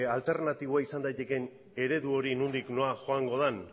alternatiboa izan daitekeen eredu hori nondik nora joango den